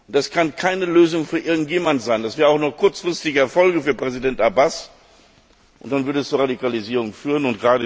Es kann keine Lösung für irgendjemand sein, das wäre auch nur ein kurzfristiger Erfolg für Präsident Abbas, und dann würde es zur Radikalisierung führen.